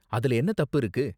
அதுல என்ன தப்பு இருக்கு?